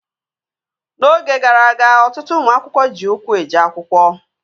N'oge gara aga, ọtụtụ ụmụ akwụkwọ ji ụkwụ eje akwụkwọ